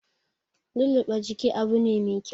Lulluɓe jiki Abu ne mai kyau